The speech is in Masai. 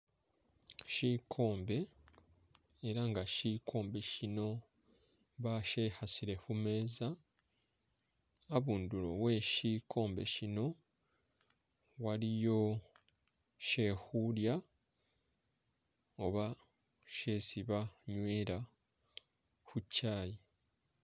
Shikombe ela nga shikombe shino bashikhasile khumeeza habundulo we'shikhombe shino waliyo shekhulya oba shesi banywela khu kyayi